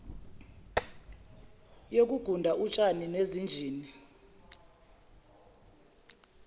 yokuguda utshani nezinjini